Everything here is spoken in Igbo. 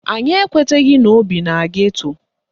Anyị ekweteghi na ọ bi na geto